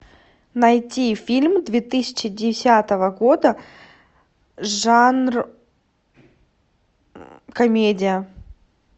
найти фильм две тысячи десятого года жанр комедия